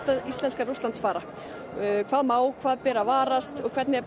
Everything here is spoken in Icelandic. íslenskra Rússlandsfara hvað má hvað ber að varast og hvernig eigi